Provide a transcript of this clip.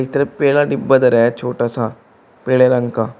एक तरफ डिब्बा धरा है छोटा सा पेड़े रंग का --